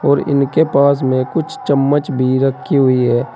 और इसके पास में कुछ चम्मच भी रखी हुई है।